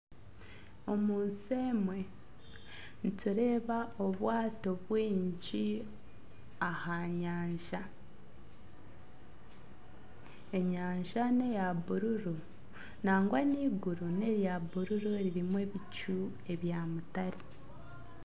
Omunsi emwe nitureeba obwato bwingi aha nyanja, enyanja neya buruuru nangwa n'eiguru nerya buruuru ririmu ebicu ebya mutare.